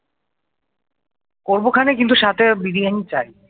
করবো খানে কিন্তু সাথে বিরিয়ানি চাই।